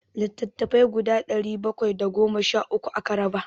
Littattafai guda ɗari bakwai da goma sha uku aka raba.